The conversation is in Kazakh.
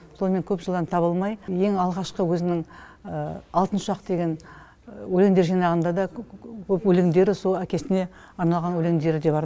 сонымен көп жылдан таба алмай ең алғашқы өзінің алтын ұшақ деген өлеңдер жинағында да өлеңдері сол әкесіне арналған өлеңдері бар